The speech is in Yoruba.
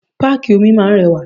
Páàkì omi máa ń rẹwà.